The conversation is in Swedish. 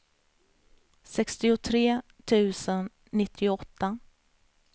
sextiotre tusen nittioåtta